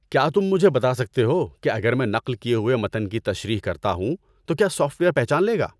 کیا تم مجھے بتا سکتے ہو کہ اگر میں نقل کیے ہوئے متن کی تشریح کرتا ہوں تو کیا سافٹ ویئر پہچان لے گا؟